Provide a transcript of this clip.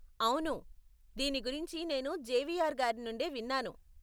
అవును, దీని గురించి నేను జేవియర్ గారి నుండే విన్నాను.